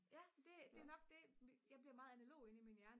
ja det er nok det jeg bliver meget analog inde i min hjerne